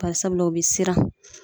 Bari sabula o be siran